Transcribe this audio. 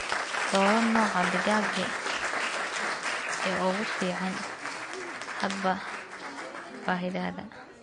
Dooro nooca digaaga ee ugu fiican hadba baahidaada.